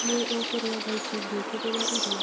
Nĩ ũkũrĩa thaa ici ngwĩkĩrĩre irio